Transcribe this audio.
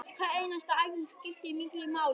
Hver einasta æfing skiptir miklu máli